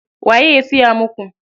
Waye ya siya muku?